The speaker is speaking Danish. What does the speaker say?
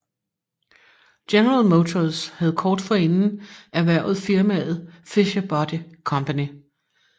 General Motors havde kort forinden erhvervet firmaet Fisher Body Company